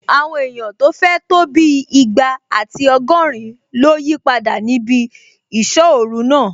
Àwọn èèyàn tó fẹ̀ tó bí ìgbà àti ọgọ́rin ló yípadà níbi ìsọ́-ọ̀ru náà